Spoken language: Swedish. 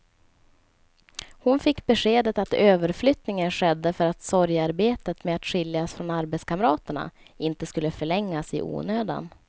Hon fick beskedet att överflyttningen skedde för att sorgearbetet med att skiljas från arbetskamraterna inte skulle förlängas i onödan.